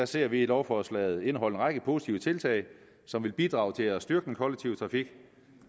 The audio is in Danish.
ser vi lovforslaget indeholde en række positive tiltag som vil bidrage til at styrke den kollektive trafik